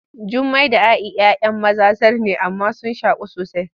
Jummai da A’i ‘yan maza zar ne amma sun shaku sosai.